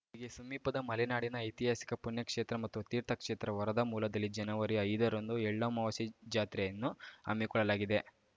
ಇಲ್ಲಿಗೆ ಸಮೀಪದ ಮಲೆನಾಡಿನ ಐತಿಹಾಸಿಕ ಪುಣ್ಯಕ್ಷೇತ್ರ ಮತ್ತು ತೀರ್ಥಕ್ಷೇತ್ರ ವರದಾಮೂಲದಲ್ಲಿ ಜನವರಿ ಐದರಂದು ಎಳ್ಳಮಾವಾಸ್ಯೆ ಜಾತ್ರೆಯನ್ನು ಹಮ್ಮಿಕೊಳ್ಳಲಾಗಿದೆ